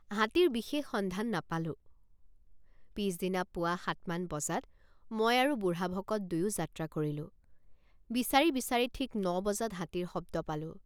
হাতীৰ বিশেষ সন্ধান নাপালোঁ। পিচদিনা পুৱা সাতমান বজাত মই আৰু বুঢ়াভকত দুয়ো যাত্ৰা কৰিলোঁ ৷ বিচাৰি বিচাৰি ঠিক ন বজাত হাতীৰ শব্দ পালোঁ ।